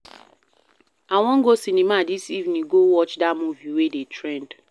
I wan go cinema dis evening go watch dat movie wey dey trend.